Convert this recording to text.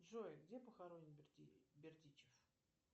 джой где похоронен бердичев